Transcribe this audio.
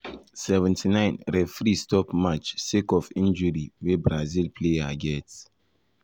79’ referee 79’ referee stop match sake or injury wey brazil player get.